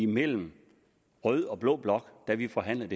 mellem rød og blå blok da vi forhandlede